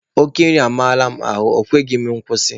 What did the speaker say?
Oke nri amarala m ahụ, ọ kweghịzị m akwụsị.